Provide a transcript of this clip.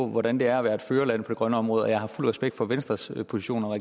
hvordan det at være et førerland på det grønne område betragtes jeg har fuld respekt for venstres position og